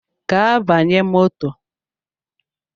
Gaa banye moto!